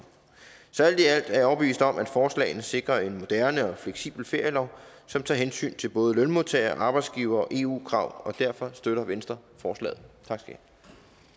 så alt i alt er jeg overbevist om at forslagene sikrer en moderne og fleksibel ferielov som tager hensyn til både lønmodtagere arbejdsgivere og eu krav derfor støtter venstre forslaget